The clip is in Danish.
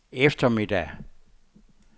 eftermiddag